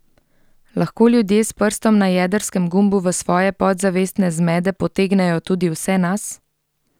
Lahko ljudje s prstom na jedrskem gumbu v svoje podzavestne zmede potegnejo tudi vse nas?